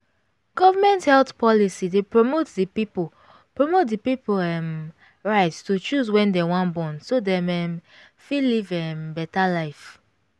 government health policy dey promote the pipo promote the pipo um right to choose when dem wan born so dem um fit live um better life